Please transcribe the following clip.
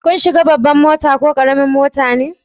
Kun shiga babban mota ko karamin mota me?